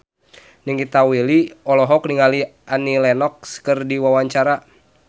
Nikita Willy olohok ningali Annie Lenox keur diwawancara